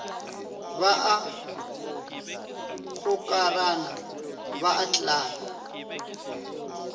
ba a gokarana ba atlana